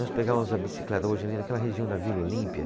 Nós pegávamos a bicicleta hoje ali naquela região da Vila Olímpia.